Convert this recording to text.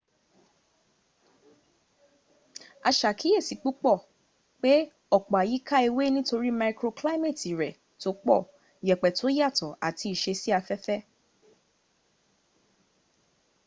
a ṣàkíyèsí púpọ̀ pe ọ̀pọ̀ ayika ewe nítorí maikroklaimeeti rẹ̀ tó pọ̀ yẹ̀pẹ̀ tó yàtọ̀ ati ìṣesí afẹ́fẹ́